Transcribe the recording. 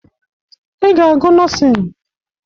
I ga-agụ nọsin!